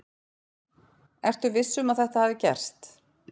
Ertu viss um að þetta hafi gerst?